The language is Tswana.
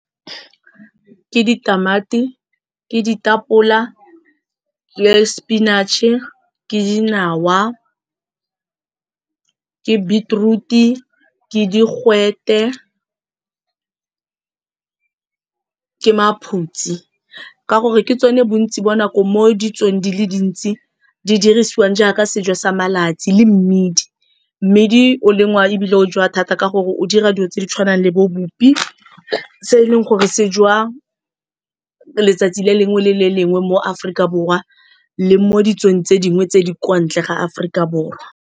Ke ditamati, ke ditapole le spinach-e, ke dinawa, ke beetroot-e ke digwete, ke maphutsi ka gore ke tsone bontsi bo nako mo ditsong dile dintsi di dirisiwang jaaka sejo sa malatsi le mmidi. Mmidi o lengwa ebile o jewa thata ke gore o dira dilo tse di tshwanang le bo bupi se e leng gore se jewa letsatsi le lengwe le le lengwe mo Aforika Borwa le mo ditsong tse dingwe tse di kwa ntle ga Aforika Borwa.